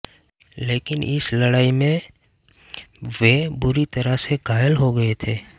लेकिन इस लड़ाई में वे बुरी तरह से घायल हो गये थे